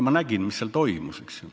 Ma nägin, mis seal toimus.